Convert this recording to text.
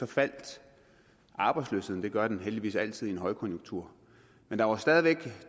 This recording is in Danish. faldt arbejdsløsheden det gør den heldigvis altid i en højkonjunktur men der var stadig væk